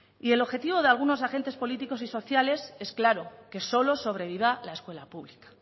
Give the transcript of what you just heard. y el objetivo de algunos agentes políticos y sociales es claro que solo sobreviva la escuela pública